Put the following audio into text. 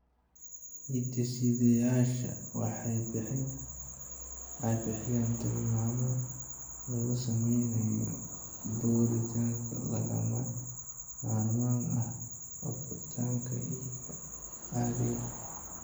Hidde-sidayaashani waxay bixiyaan tilmaamo lagu samaynayo borotiinno lagama maarmaan u ah koritaanka iliga caadiga ah.